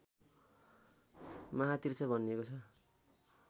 महातीर्थ भनिएको छ